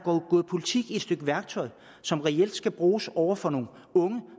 gået politik i et stykke værktøj som reelt skal bruges over for nogle unge